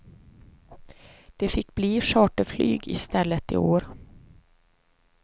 Det fick bli charterflyg i stället i år.